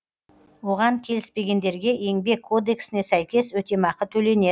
оған келіспегендерге еңбек кодексіне сәйкес өтемақы төленеді